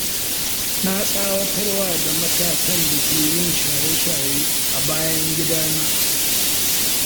Na tsawatarwa da matasan da ke yin shaye-shaye a bayan gidana.